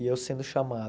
e eu sendo chamado.